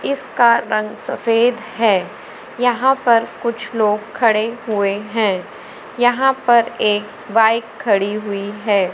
इसका रंग सफेद है यहां पर कुछ लोग खड़े हुए हैं यहां पर एक बाइक खड़ी हुई है।